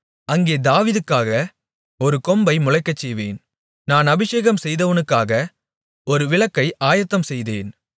அங்கே தாவீதுக்காக ஒரு கொம்பை முளைக்கச்செய்வேன் நான் அபிஷேகம் செய்தவவனுக்காக ஒரு விளக்கை ஆயத்தம்செய்தேன்